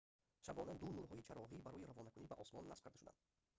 шабона ду нурҳои чароғӣ барои равонакунӣ ба осмон насб карда шуданд